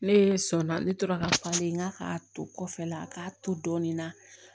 Ne sɔnna ne tora ka falen n k'a k'a to kɔfɛ la k'a to dɔɔnin na